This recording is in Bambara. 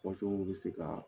Fɔ cogow bɛ se ka